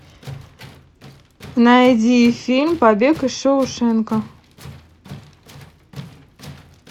найди фильм побег из шоушенка